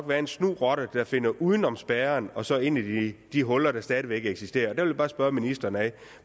være en snu rotte der finder uden om spærren og så ind i i de huller der stadig væk eksisterer der vil jeg bare spørge ministeren